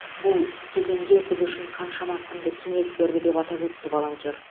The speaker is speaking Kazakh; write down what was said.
бұл кезеңде біз үшін қаншама құнды кеңес берді деп атап өтті волонтер